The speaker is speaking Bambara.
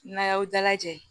N'a y'aw dalajɛ